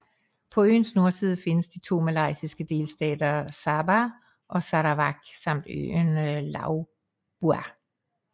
På øens nordside findes de to malaysiske delstater Sabah og Sarawak samt øen Labuan